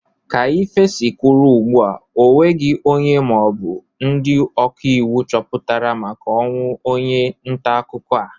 Ka ife si kwụrụ ugbu a onweghi onye maọbụ ndị ọkaiwu puchatara maka ọnwụ onye ntaakụkọ a.